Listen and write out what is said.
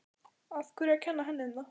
Af hverju að kenna henni um það?